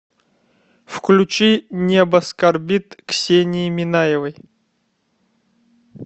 включи небо скорбит ксении минаевой